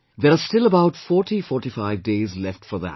There are still about 4045 days left for that